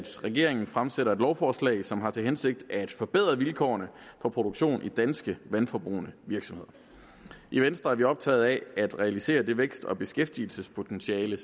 regeringen fremsætter et lovforslag som har til hensigt at forbedre vilkårene for produktion i danske vandforbrugende virksomheder i venstre er vi optaget af at realisere det vækst og beskæftigelsespotentiale